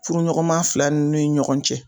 Furuɲɔgɔnma fila nu ni ɲɔgɔn cɛ.